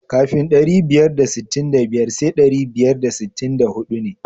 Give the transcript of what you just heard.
Kafin ɗari biyar da sittin da biyar sai ɗari biyar da sittin da huɗu ne.